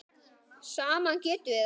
Saman getum við það.